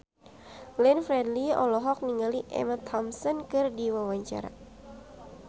Glenn Fredly olohok ningali Emma Thompson keur diwawancara